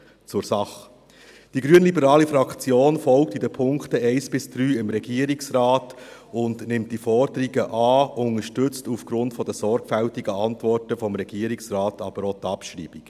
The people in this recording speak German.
Zur Sache: Die grünliberale Fraktion folgt in den Punkten 1 bis 3 dem Regierungsrat und nimmt diese Forderungen an, unterstützt aufgrund der sorgfältigen Antworten des Regierungsrates aber auch die Abschreibung.